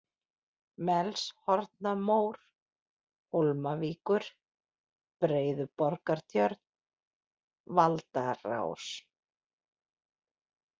Melshornamór, Hólmavíkur, Beiðuborgartjörn, Valdarás